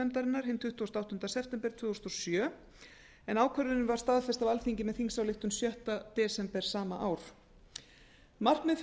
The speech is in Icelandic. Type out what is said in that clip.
nefndarinnar hinn tuttugasta og áttunda september tvö þúsund og sjö ákvörðunin var staðfest á alþingi með þingsályktun sjötta desember sama ár markmið